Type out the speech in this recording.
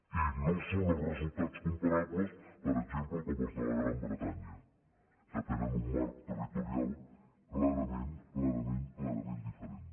i no són els resultats comparables per exemple com els de la gran bretanya que tenen un marc territorial clarament clarament clarament diferent